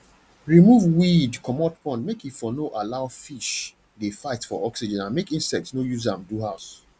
remove weeed comot pond make e for no allow fish de fight for oxygen and make insects no use am do house